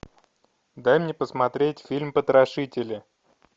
дай мне посмотреть фильм потрошители